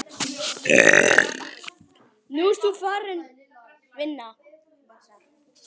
Nú ert þú farin, vina.